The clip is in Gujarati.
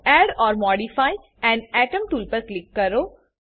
add or modify an atom tool પર ક્લિક કરો